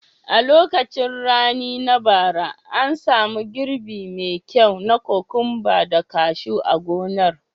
A lokacin rani na bara, an samu girbi me kyau na kokwamba da kashu a gonar.